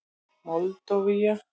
Moldóva